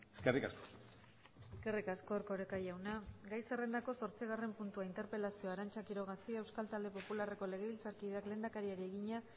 eskerrik asko eskerrik asko erkoreka jauna gai zerrendako zortzigarren puntua interpelazioa arantza quiroga cia euskal talde popularreko legebiltzarkideak lehendakariari egina